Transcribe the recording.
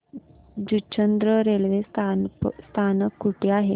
Juchandra railway स्थानक कुठे आहे